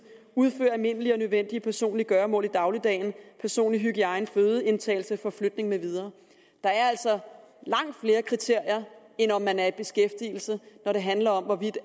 udføre almindelige og nødvendige personlige gøremål i dagligdagen personlig hygiejne fødeindtagelse forflytning med videre der er altså langt flere kriterier end om man er i beskæftigelse når det handler om hvorvidt